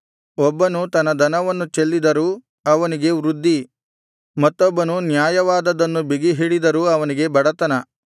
ಒಬ್ಬನು ತನ್ನ ಧನವನ್ನು ಚೆಲ್ಲಿದರೂ ಅವನಿಗೆ ವೃದ್ಧಿ ಮತ್ತೊಬ್ಬನು ನ್ಯಾಯವಾದದ್ದನ್ನು ಬಿಗಿಹಿಡಿದರೂ ಅವನಿಗೆ ಬಡತನ